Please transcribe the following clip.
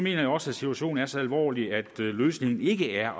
jeg også at situationen er så alvorlig at løsningen ikke er